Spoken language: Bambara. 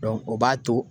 o b'a to